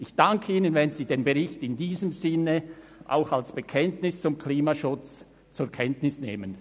Ich danke Ihnen, wenn Sie den Bericht in diesem Sinne auch als Bekenntnis zum Klimaschutz zur Kenntnis nehmen.